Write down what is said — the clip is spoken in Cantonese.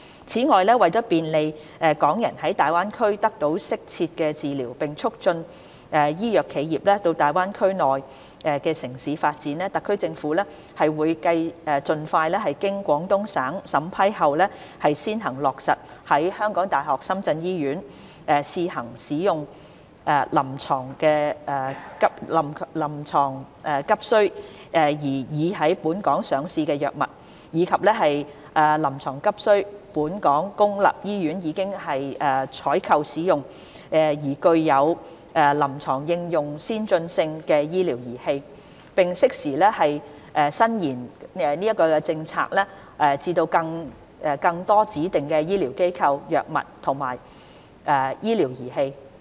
此外，為便利港人在粵港澳大灣區內得到適切治療並促進醫藥企業到大灣區內地城市發展，特區政府會盡快經廣東省審批後先行落實在香港大學深圳醫院試行使用臨床急需、已在本港上市的藥物，以及臨床急需、本港公立醫院已採購使用、具有臨床應用先進性的醫療儀器；並適時延伸政策至更多指定醫療機構、藥物及醫療儀器。